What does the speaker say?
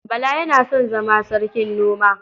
Bala yana son zama sarkin noma.